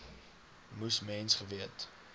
moes mens geweet